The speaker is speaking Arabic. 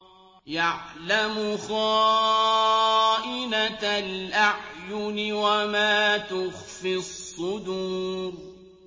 يَعْلَمُ خَائِنَةَ الْأَعْيُنِ وَمَا تُخْفِي الصُّدُورُ